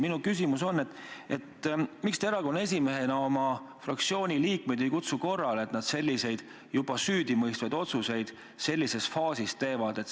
Minu küsimus on, et miks te erakonna esimehena oma fraktsiooni liikmeid korrale ei kutsu, et nad selliseid, juba süüdimõistvaid otsuseid sellises faasis teevad.